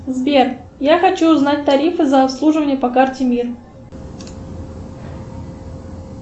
сбер я хочу узнать тарифы за обслуживание по карте мир